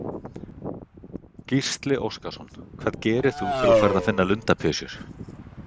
Gísli Óskarsson: Hvað gerir þú þegar þú ferð að finna lundapysjur?